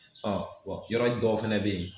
yɔrɔ dɔw fɛnɛ bɛ yen